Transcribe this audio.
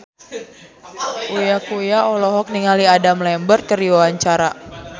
Uya Kuya olohok ningali Adam Lambert keur diwawancara